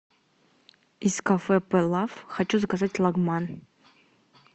из кафе пелаф хочу заказать лагман